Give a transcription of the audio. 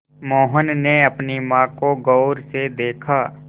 मोहन ने अपनी माँ को गौर से देखा